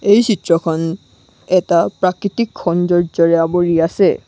এই চিত্ৰখন এটা প্ৰাকৃতিক সৌন্দৰ্য্যৰে আৱৰি আছে।